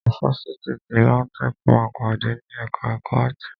Ifáfitì ti LAUTECH máa padà ni ẹka ẹ̀kọ́ áàtì.